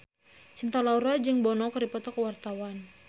Cinta Laura jeung Bono keur dipoto ku wartawan